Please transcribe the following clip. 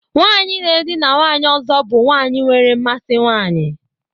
Nwanyị na-edina nwanyị ọzọ bụ nwanyị nwere mmasị nwanyị.